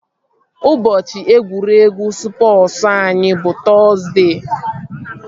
Ụbọchị egwuregwu spọsu anyị bụ Tọzdee